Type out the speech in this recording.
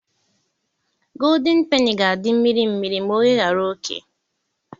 Godin peni ga-adị mmiri mmiri ma oyeghara oké.